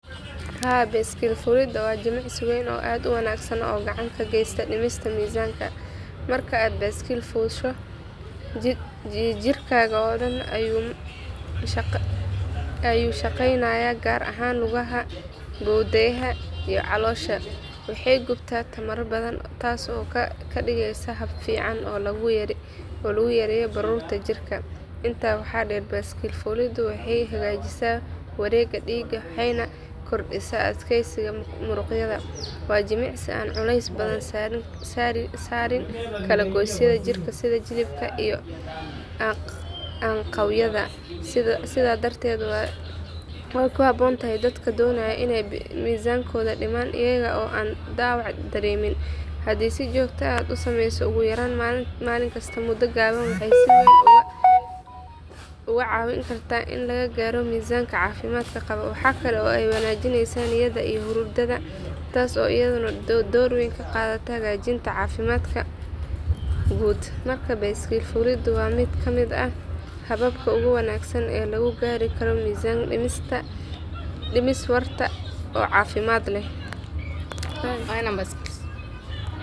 Haa baaskiil fuuliddu waa jimicsi weyn oo aad u wanaagsan oo gacan ka geysta dhimista miisaanka. Marka aad baaskiil fuusho jidhkaaga oo dhan ayuu shaqaynayaa gaar ahaan lugaha, bowdyaha iyo caloosha. Waxay gubtaa tamar badan taas oo ka dhigaysa hab fiican oo lagu yareeyo baruurta jirka. Intaa waxaa dheer baaskiil fuuliddu waxay hagaajisaa wareegga dhiigga waxayna kordhisaa adkaysiga muruqyada. Waa jimicsi aan culays badan saarin kala goysyada jirka sida jilibka iyo anqawyada, sidaa darteed waa ku habboon tahay dadka doonaya inay miisaankooda dhimaan iyaga oo aan dhaawac dareemin. Haddii si joogto ah loo sameeyo ugu yaraan maalin kasta muddo gaaban waxay si weyn uga caawin kartaa in la gaaro miisaan caafimaad qaba. Waxa kale oo ay wanaajisaa niyadda iyo hurdada taas oo iyaduna door ka qaadata hagaajinta caafimaadka guud. Marka baaskiil fuuliddu waa mid ka mid ah hababka ugu wanaagsan ee lagu gaari karo miisaan dhimis waarta oo caafimaad leh.